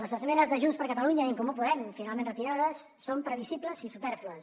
les esmenes de junts per catalunya i en comú podem finalment retirades són previsibles i supèrflues